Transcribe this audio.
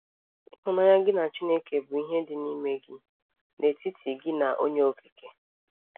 Ịhụnanya gị na Chineke bụ ihe dị n’ime gị, n’etiti gị na Onye Okike.